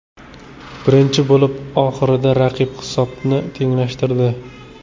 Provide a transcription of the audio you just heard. Birinchi bo‘lim oxirida raqib hisobni tenglashtirdi.